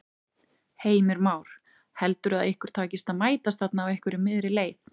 Heimir Már: Heldurðu að ykkur takist að mætast þarna á einhverri miðri leið?